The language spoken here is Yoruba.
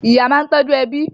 Ìyá máa ń tọ́jú ẹbí.